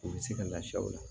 U bɛ se ka lafiya o la